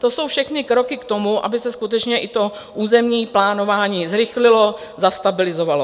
To jsou všechny kroky k tomu, aby se skutečně i to územní plánování zrychlilo, zastabilizovalo.